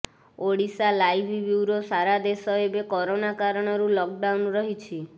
Odisha live bureau ସାରା ଦେଶ ଏବେ କରୋନା କାରଣରୁ ଲକଡାଉନ୍ ରହିଛି